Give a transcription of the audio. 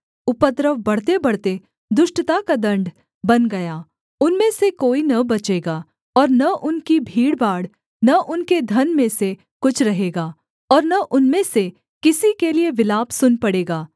उपद्रव बढ़तेबढ़ते दुष्टता का दण्ड बन गया उनमें से कोई न बचेगा और न उनकी भीड़भाड़ न उनके धन में से कुछ रहेगा और न उनमें से किसी के लिये विलाप सुन पड़ेगा